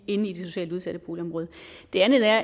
inde i det socialt udsatte boligområde det andet er